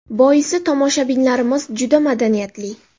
Boisi, tomoshabinlarimiz juda madaniyatli.